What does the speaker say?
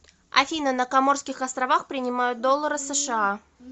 афина на коморских островах принимают доллары сша